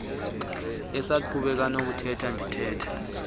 esaqhubeka nokuthetha ndithetha